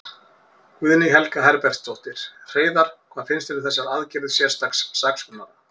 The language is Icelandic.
Guðný Helga Herbertsdóttir: Hreiðar, hvað finnst þér um þessar aðgerðir sérstaks saksóknara?